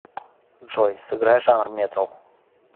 джой сыграй жанр метал